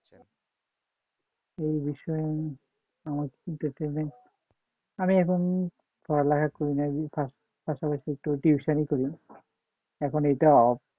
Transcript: এই বিষয়ে মানে পড়ালেখা করি না পাশাপাশি tuition করি এখন এটা off